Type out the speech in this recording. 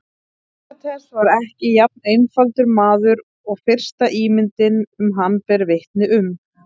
Sókrates var ekki jafn einfaldur maður og fyrsta ímyndin um hann ber vitni um.